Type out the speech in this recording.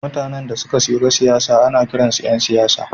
Mutanen da suka shiga siyasa ana kiransu ’yan siyasa.